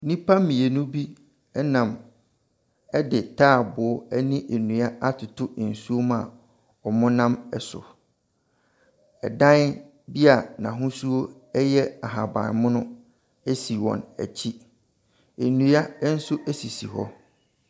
Nnipa mmienu bi nam de taaboo ne nnua atoto nsuom a wɔna so. Dan bi a n'ahosuo yɛ ahaban mono si wɔn akyi. Nnua nso sisi hɔ.